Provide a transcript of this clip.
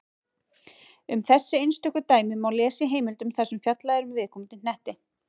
Um þessi einstöku dæmi má lesa í heimildum þar sem fjallað er um viðkomandi hnetti.